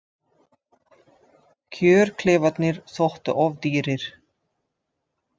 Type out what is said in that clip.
Kjörklefarnir þóttu of dýrir